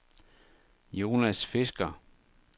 Jonas Fisker